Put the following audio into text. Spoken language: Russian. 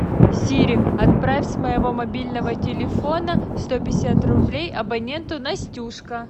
сири отправь с моего мобильного телефона сто пятьдесят рублей абоненту настюшка